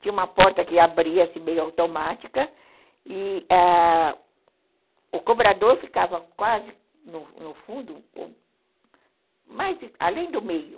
Tinha uma porta que abria-se meio automática e ãh o cobrador ficava quase no fundo, além do meio.